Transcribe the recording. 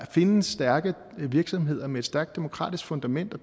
findes stærke virksomheder med et stærkt demokratisk fundament og